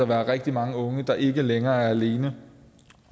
være rigtig mange unge der ikke længere er alene